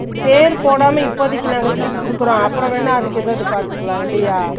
per போடாம இப்பதைக்கு நாங்க கொறச்சு குடுக்குறோ அப்பறம் வேன்ன அதுக்கு எதாச்சும் பாத்துக்கலாம் இல்லையா